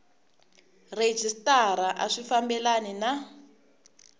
rhejisitara a swi fambelani na